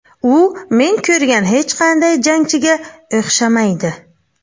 U men ko‘rgan hech qanday jangchiga o‘xshamaydi.